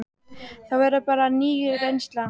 Það verður þá bara ný reynsla.